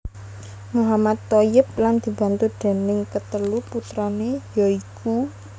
Mohammad Thoyyib lan dibantu déning katelu putrané ya iku